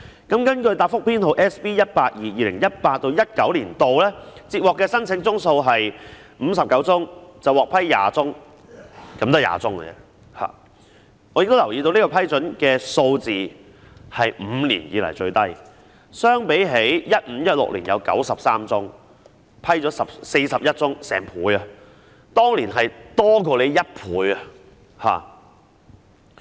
根據答覆編號 SB182， 在 2018-2019 年度，接獲的申請宗數為59宗，獲批20宗——只是20宗而已——我亦留意到這個批准數字是5年以來最低，相比 2015-2016 年度有93宗申請，獲批41宗，當年的數字多出1倍。